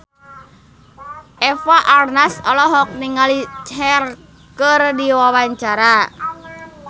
Eva Arnaz olohok ningali Cher keur diwawancara